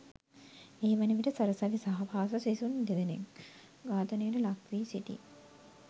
ඒ වනවිට සරසවි සහ පාසල් සිසුන්දෙනකු ඝාතනයට ලක්වී සිටි